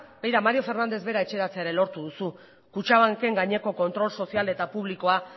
begira mario fernández bera etxeratzea lortu duzu kutxabanken gaineko kontrol sozial eta publikoa